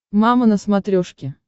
мама на смотрешке